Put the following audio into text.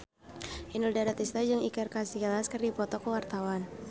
Inul Daratista jeung Iker Casillas keur dipoto ku wartawan